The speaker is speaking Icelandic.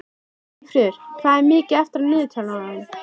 Eyfríður, hvað er mikið eftir af niðurteljaranum?